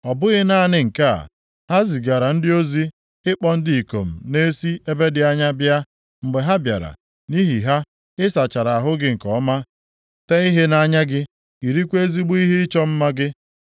“Ọ bụghị naanị nke a, ha zigara ndị ozi ịkpọ ndị ikom na-esi ebe dị anya bịa, mgbe ha bịara, nʼihi ha, ị sachara ahụ gị nke ọma, tee ihe nʼanya gị, yirikwa ezigbo ihe ịchọ mma gị.